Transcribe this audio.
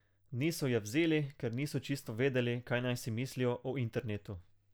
Niso je vzeli, ker niso čisto vedeli, kaj naj si mislijo o internetu.